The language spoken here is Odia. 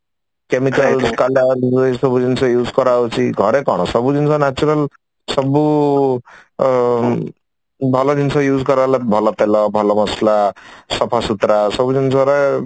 chemical colour ଏଇ ସବୁ ଜିନିଷ use କରା ହଉଛି ଘରେ କଣ ସବୁ ଜିନିଷ natural ସବୁ ଆଁ ଭଲ ଜିନିଷ use କରାହେଲା ଭଲ ତେଲ ଭଲ ମସଲା ଭଲ ସଫାସୁତୁରା ସବୁ ଜିନିଷରେ